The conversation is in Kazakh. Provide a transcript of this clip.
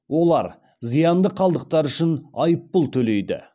олар зиянды қалдықтар үшін айыппұл төлейді